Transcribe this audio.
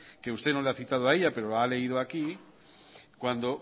que usted no la ha citado a ella pero ha leído aquí